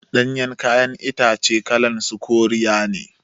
Ɗanyan kayan itace kalan su koriya ne